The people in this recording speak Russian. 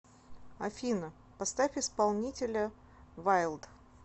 афина поставь исполнителя вайлд